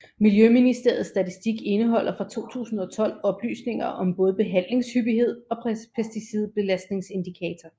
Miljøministeriets statistik indeholder fra 2012 oplysninger om både behandlingshyppighed og pesticidbelastningsindikator